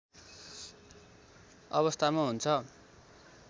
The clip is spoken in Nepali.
अवस्थामा हुन्छ